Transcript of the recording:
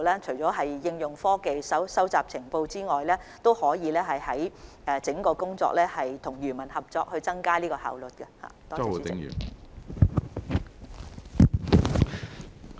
除了應用科技及收集情報外，當局也會在工作上與漁民合作，以增強效用。